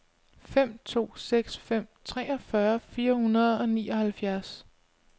fem to seks fem treogfyrre fire hundrede og nioghalvfjerds